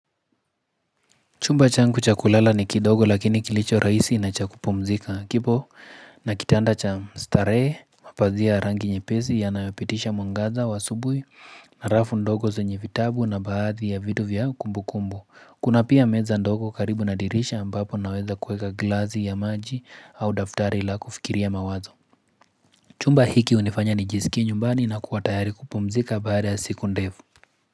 Chumba changu cha kulala ni kidogo lakini kilichorahisi na cha kupumzika kipo na kitanda cha starehe, mapazia ya rangi nyepesi yanayopitisha mwangaza wa asubuhi na rafu ndogo zenye vitabu na baadhi ya vitu vya kumbukumbu. Kuna pia meza ndogo karibu na dirisha ambapo naweza kuweka glasi ya maji au daftari la kufikiria mawazo. Chumba hiki hunifanya nijisikie nyumbani na kuwa tayari kupumzika baada ya siku ndefu.